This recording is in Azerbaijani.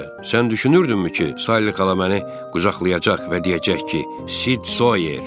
Bəs sən necə, sən düşünürdünmü ki, Salli xala məni qucaqlayacaq və deyəcək ki, Sid Soyer?